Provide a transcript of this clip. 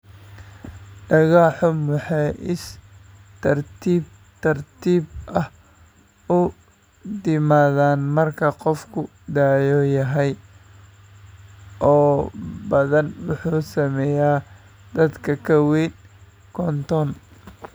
Dhago xumo waxay si tartiib tartiib ah u timaadaa marka qofku da'da yahay oo badanaa wuxuu saameeyaa dadka ka weyn konton.